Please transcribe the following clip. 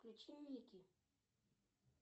включи ники